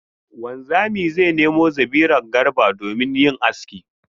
Wanzami zai nemo zabiran Garba domin yin aski.